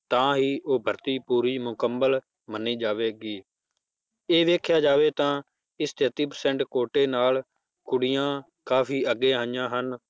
ਤਾਂ ਉਹ ਭਰਤੀ ਪੂਰੀ ਮੁਕੰਮਲ ਮੰਨੀ ਜਾਵੇਗੀ, ਇਹ ਵੇਖਿਆ ਜਾਵੇ ਤਾਂ, ਇਸ ਤੇਤੀ percent ਕੋਟੇ ਨਾਲ ਕੁੜੀਆਂ ਕਾਫ਼ੀ ਅੱਗੇ ਆਈਆਂ ਹਨ,